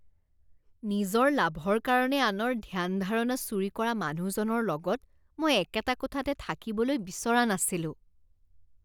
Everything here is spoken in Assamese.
নিজৰ লাভৰ কাৰণে আনৰ ধ্যান ধাৰণা চুৰি কৰা মানুহজনৰ লগত মই একেটা কোঠাতে থাকিবলৈ বিচৰা নাছিলোঁ।